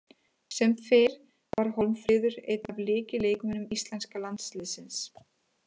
Sem fyrr var Hólmfríður einn af lykilleikmönnum íslenska landsliðsins.